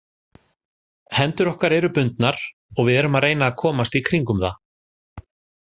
Hendur okkar eru bundnar og við erum að reyna að komast í kringum það.